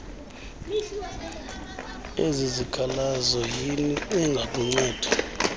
lwezikhalazo iner engakunceda